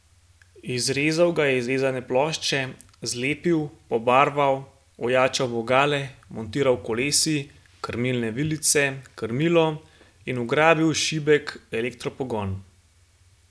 Izrezal ga je iz vezane plošče, zlepil, pobarval, ojačal vogale, montiral kolesi, krmilne vilice, krmilo in vgradil šibek elektropogon.